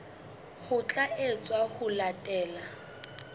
ho tla etswa ho latela